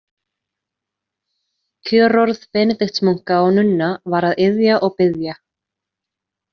Kjörorð Benediktsmunka og -nunna var að iðja og biðja.